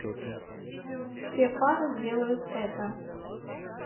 все пары делают это